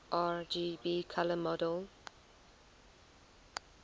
rgb color model